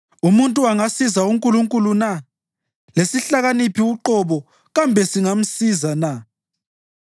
“Umuntu angasiza uNkulunkulu na? Lesihlakaniphi uqobo kambe singamsiza na?